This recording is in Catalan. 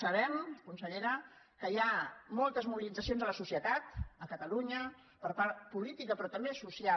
sabem consellera que hi ha moltes mobilitzacions a la societat a catalunya política però també social